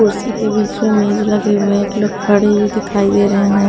कुर्सी के बीच में मेज लगे हुए एक लोग खड़े हुए दिखाई दे रहे हैं।